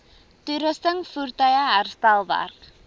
toerusting voertuie herstelwerk